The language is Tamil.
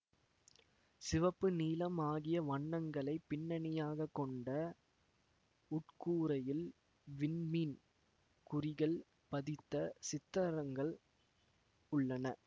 சிவப்பு நீலம் ஆகிய வண்ணங்களை பின்னணியாகக் கொண்ட உட்கூரையில் விண்மீன் குறிகள் பதித்த சித்தரங்கள் உள்ளன